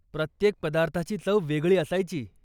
प्रत्येक पदार्थाची चव वेगळी असायची.